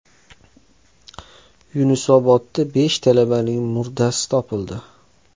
Yunusobodda besh talabaning murdasi topildi.